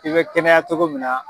I bɛ kɛnɛya cogo min na